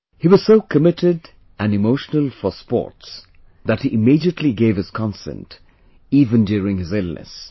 He was so committed and emotional for sports that he immediately gave his consent even during his illness